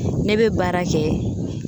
Ne be baara kɛ.